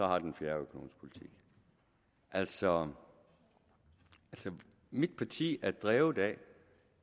har en fjerde økonomisk politik altså mit parti er drevet af